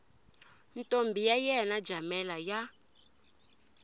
ntombi ya yena jamela ya